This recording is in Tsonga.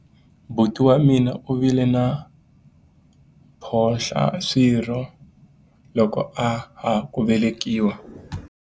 buti wa mina u vile na mphohlaswirho loko a ha ku velekiwa